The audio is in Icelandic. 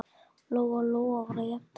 Lóa-Lóa var að jafna sig.